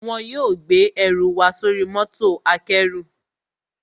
Wọn yóò gbé ẹnù wa sóri mọ́tò akẹ́rù